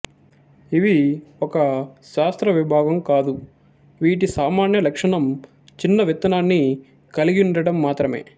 ఇవి ఒక శాస్త్రవిభాగం కాదు వీటి సామాన్య లక్షణం చిన్న విత్తనాన్ని కలిగియుండడం మాత్రమే